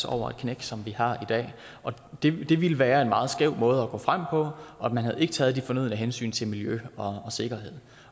over det knæk som vi har i dag og det ville det ville være en meget skæv måde at gå frem på og man ville taget de fornødne hensyn til miljø og sikkerhed